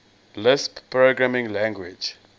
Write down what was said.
lisp programming language